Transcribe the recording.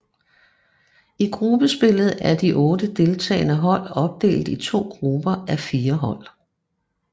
I gruppespillet er de otte deltagende hold opdelt i to grupper á fire hold